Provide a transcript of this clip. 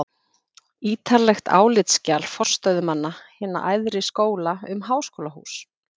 ítarlegt álitsskjal forstöðumanna hinna æðri skóla um háskólahús